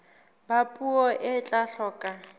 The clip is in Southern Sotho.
ba puo e tla hloka